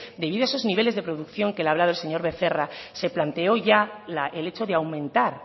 debido a sus niveles de producción que le ha hablado el señor becerra se planteó ya el hecho de aumentar